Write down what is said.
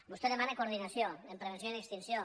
vostè demana coordinació en prevenció i en extin·ció